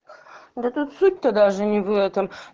да тут суть тут даже не в этом